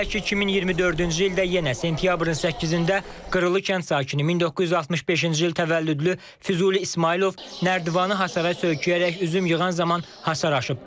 Belə ki, 2024-cü ildə yenə sentyabrın 8-də Qırılı kənd sakini 1965-ci il təvəllüdlü Füzuli İsmayılov nərdivanı hasara söyküyərək üzüm yığan zaman hasar aşıb.